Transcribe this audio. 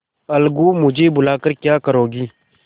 अलगूमुझे बुला कर क्या करोगी